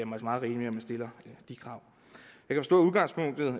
meget rimeligt at man stiller de krav